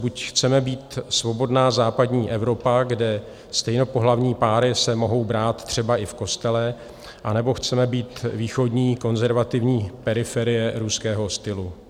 Buď chceme být svobodná západní Evropa, kde stejnopohlavní páry se mohou brát třeba i v kostele, anebo chceme být východní konzervativní periferie ruského stylu.